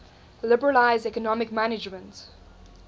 liberalize economic management